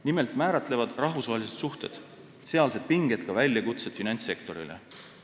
Nimelt määratlevad rahvusvahelised suhted ja sealsed pinged väljakutsed finantssektorile.